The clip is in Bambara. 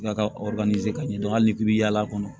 Ka ka ka ɲɛ dɔn hali ni k'i bi yaala a kɔnɔ